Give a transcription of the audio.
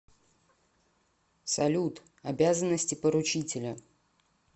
салют обязанности поручителя